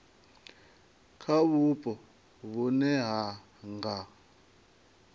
kha vhupo vhune ha nga